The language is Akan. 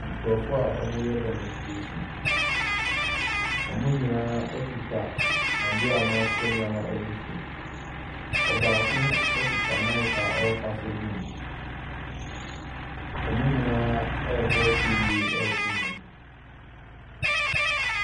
Nkurɔfoɔ a wɔreyɛ demonstration. Wɔn nyinaa kita adeɛ a wɔatwerɛ nneɛma agu so. Ɔbaako kita mic a ɔrekasa gum. Wɔn nyinaa rebɔ se yie reto nnwom.